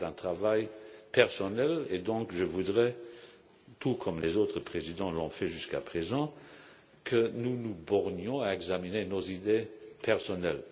C'est un travail personnel et je voudrais donc, tout comme les autres présidents l'ont fait jusqu'à présent, que nous nous bornions à examiner nos idées personnelles.